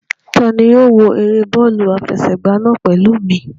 Ta ni yóò wo eré bọ́ọ̀lù àfẹsẹ̀gbá náà pẹ̀lú mi?